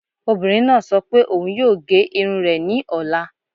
Obìnrin náà sọ pé òun yóò gé irun rẹ̀ ní ọ̀la